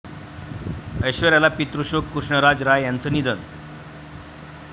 ऐश्वर्याला पितृशोक, कृष्णराज राय यांचं निधन